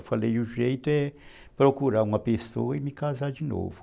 Eu falei, o jeito é procurar uma pessoa e me casar de novo.